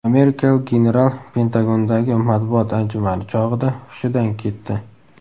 Amerikalik general Pentagondagi matbuot anjumani chog‘ida hushidan ketdi .